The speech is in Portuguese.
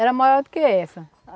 Era maior do que essa.